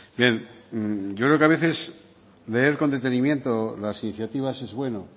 bien yo creo que a veces leer con detenimiento las iniciativas es bueno